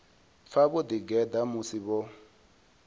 pfa vho ḓigeḓa musi vho